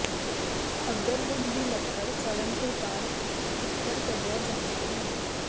agarwood ਦੀ ਲੱਕੜ ਸੜਨ ਤੋਂ ਬਾਅਦ ਇਤਰ ਕੱਢਿਆ ਜਾਂਦਾ ਹੈ